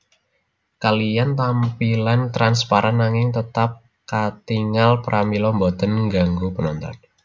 Kaliyan tampilan transparan nanging tetap katingal pramila boten ngganggu penonton